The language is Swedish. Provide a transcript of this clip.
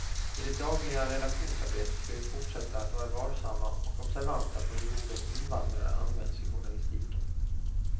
I det dagliga redaktionsarbetet ska vi fortsätta att vara varsamma och observanta på hur ordet invandrare används i journalistiken.